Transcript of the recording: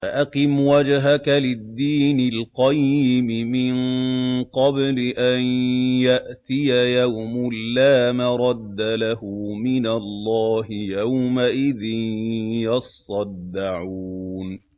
فَأَقِمْ وَجْهَكَ لِلدِّينِ الْقَيِّمِ مِن قَبْلِ أَن يَأْتِيَ يَوْمٌ لَّا مَرَدَّ لَهُ مِنَ اللَّهِ ۖ يَوْمَئِذٍ يَصَّدَّعُونَ